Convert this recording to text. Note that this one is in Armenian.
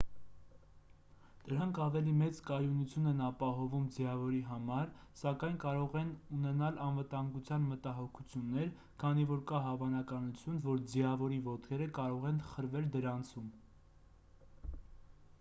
դրանք ավելի մեծ կայունություն են ապահովում ձիավորի համար սակայն կարող են ունենալ անվտանգության մտահոգություններ քանի որ կա հավանականություն որ ձիավորի ոտքերը կարող են խրվել դրանցում